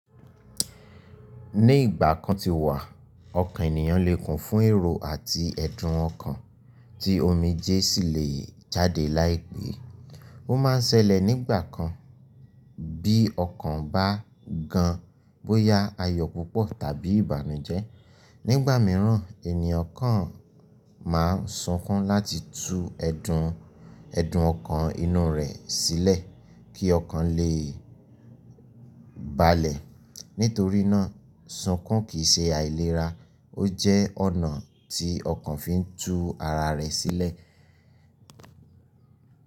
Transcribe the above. Ní ìgbà kan ti wà, ọkàn ènìyàn lè kún fún èrò àti ẹ̀dùn ọkàn tí omijé sì lè jáde láìpẹ́. Ó máa ń ṣẹlẹ̀ nígbà kan bí ọkàn bá gan bóyá ayọ̀ púpọ̀ tàbí ìbànújẹ́. Nígbà mìíràn, ènìyàn kan máa ń sunkún láti tú ẹ̀dùn, ẹ̀dùn ọkàn inú rẹ̀ sílẹ̀ kí ọkàn lè balẹ̀. Nítorí náà, sunkún kì í ṣe àìlera, ó jẹ́ ọ̀nà tí ọkàn fi ń tú ara rẹ̀ sílẹ̀.